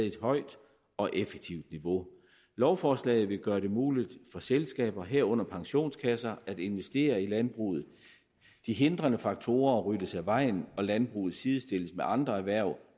et højt og effektivt niveau lovforslaget vil gøre det muligt for selskaber herunder pensionskasser at investere i landbruget de hindrende faktorer ryddes af vejen og landbruget sidestilles med andre erhverv